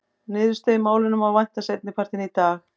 Niðurstöðu í málinu má vænta seinni partinn í dag.